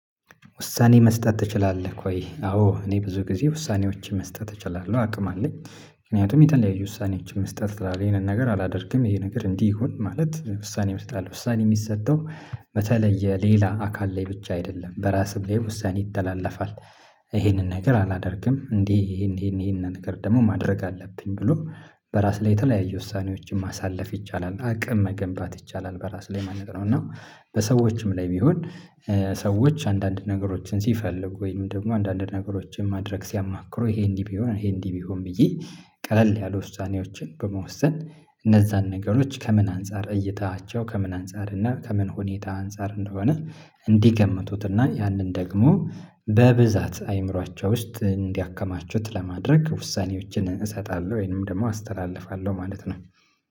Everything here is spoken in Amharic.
ውሳኔ መስጠት ትችላለክ ወይ? አዎ እኔ ብዙ ጊዜ ውሳኔዎቼ መስጠት እችላለሁ አቅም አለኝ ምክንያቱም የተለያዩ ውሳኔዎች መስጠት እችላለሁ ይሄንን ነገር አላደርግም ይሄ ነገር እንዲህ ይሁን ማለት ውሳኔ እሰጣለሁ ውሳኔ የሚሰጠው በተለይ የሌላ አካል ላይ ብቻ አይደለም በራስም ላይ ውሳኔ ይተላለፋል። ይሄንን ነገር አላደርግም እንዴ ይሄን ይሄን ይሄን ነገር ደግሞ ማድረግ አለብኝ ብሎ በራስ ላይ የተለያየ ውሳኔዎችን ማሳለፍ ይቻላል አቅም መገንባት ይቻላል በራስ ላይ ማለት ነው። እና በሰዎችም ላይ ቢሆን ሰዎች አንዳንድ ነገሮችን ሲፈልጉ ወይም ደግሞ አንዳንድ ነገሮችን ማድረግ ሲያማክሩ ይሄ እንዲህ ቢሆን ይሄ እንዲህ ቢሆን ብዬ ቀለል ያሉ ውሳኔዎችን በመወሰን እነዛን ነገሮች ከምን አንፃር እይታቸው ከምን አንፃር እና ከምን ሁኔታ አንፃር እንደሆነ እንዲገምቱት እና ያንን ደግሞ በብዛት አእምሮአቸው ውስጥ እንዲያከማቹት ለማድረግ ውሳኔዎችን እሰጣለሁ ወይንም ደግሞ አስተላልፋለሁ ማለት ነው